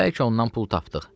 Bəlkə ondan pul tapdıq.